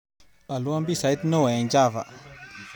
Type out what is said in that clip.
Olwon pisait neo eng chava